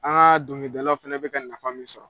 dongilidalaw fɛnɛ bɛ ka nafa min sɔrɔ.